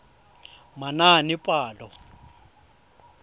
manaanepalo